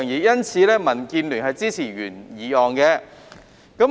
因此，民建聯支持原議案。